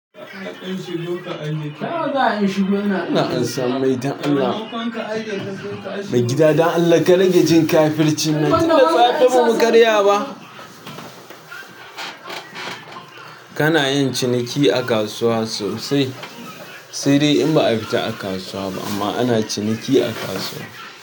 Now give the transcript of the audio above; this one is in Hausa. Ina ansa mai dan Allah? Mai gida dan Allah ka rage jin kafirci nan, tunda safe bamu karya ba. Kanayin ciniki a kasuwa sosai sai dai in ba'a fita kasuwa ba amma ana ciniki a kasuwa.